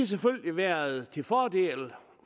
selvfølgelig været til fordel